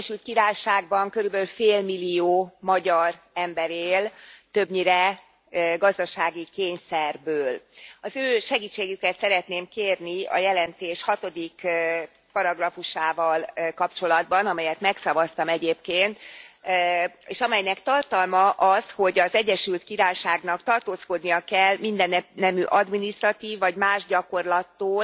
Az Egyesült Királyságban körülbelül félmillió magyar ember él, többnyire gazdasági kényszerből. Az ő segítségüket szeretném kérni a jelentés hatodik paragrafusával kapcsolatban, amelyet megszavaztam egyébként, és amelynek tartalma az, hogy az Egyesült Királyságnak tartózkodnia kell mindennemű adminisztratív, vagy más gyakorlattól,